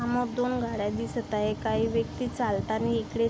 हा दोन गाड्या दिसत आहे काही व्यक्ति चालतानि इकडे--